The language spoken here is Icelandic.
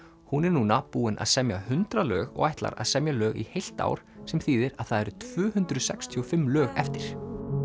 hún er núna búin að semja hundrað lög og ætlar að semja lög í heilt ár sem þýðir að það eru tvö hundruð sextíu og fimm lög eftir